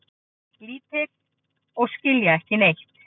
Lítil og skilja ekki neitt.